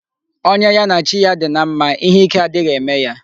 Onye ya na chi ya dị na mma, ihe ike adịghị eme ya.